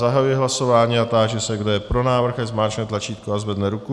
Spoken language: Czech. Zahajuji hlasování a táži se, kdo je pro návrh, ať zmáčkne tlačítko a zvedne ruku.